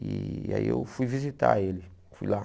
E aí eu fui visitar ele, fui lá.